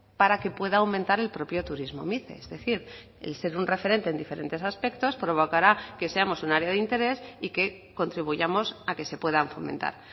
para que pueda aumentar el propio turismo mice es decir el ser un referente en diferentes aspectos provocará que seamos un área de interés y que contribuyamos a que se puedan fomentar